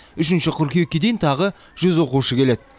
үшінші қыркүйекке дейін тағы жүз оқушы келеді